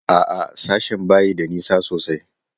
A'a, sashen ba shi da nisa sosai.